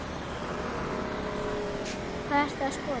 Hvað ertu að skoða?